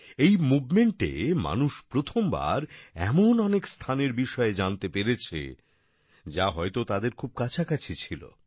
এই মুভমেন্টে মানুষ প্রথমবার এমন অনেক স্থানের বিষয়ে জানতে পেরেছে যা হয়তো তাদের খুব কাছাকাছি ছিল